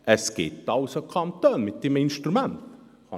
» Es gibt also Kantone, die dieses Instrument haben.